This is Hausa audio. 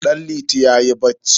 Danliti yayi bacci.